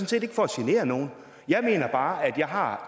set ikke for at genere nogen jeg mener bare at jeg har